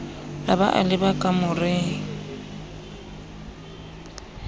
a ba a leba kamoreng